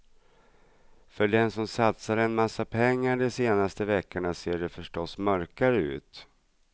För den som satsade en massa pengar de senaste veckorna ser det förstås mörkare ut.